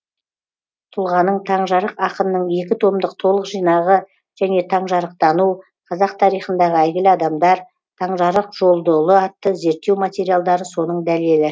тұлғаның таңжарық ақынның екі томдық толық жинағы және таңжарықтану қазақ тарихындағы әйгілі адамдар таңжарық жолдыұлы атты зерттеу материалдары соның дәлелі